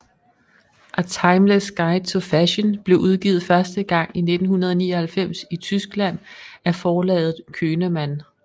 A Timeless Guide to Fashion blev udgivet første gang i 1999 i Tyskland af forlaget Könemann